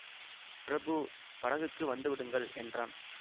பிரபு படகுக்கு வந்து விடுங்கள் என்றான்